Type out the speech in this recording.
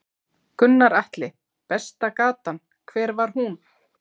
Gunnar Atli: Besta gatan, hver var hún?